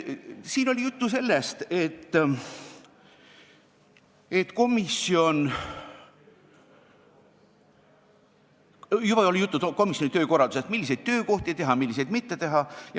Siin oli juba juttu komisjoni töökorraldusest, milliseid töökohti teha ja milliseid mitte teha.